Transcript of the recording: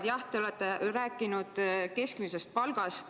Jah, te olete rääkinud keskmisest palgast.